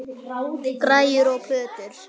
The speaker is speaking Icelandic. Græjur og plötur.